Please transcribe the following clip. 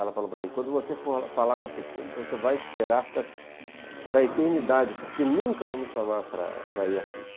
Ela falou para mim, quando você for falar na Flip, então você vai esperar para a eternidade, porque nunca vão me chamar para ir à Flip.